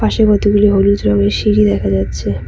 পাশে কতগুলি হলুদ রংয়ের সিঁড়ি দেখা যাচ্ছে।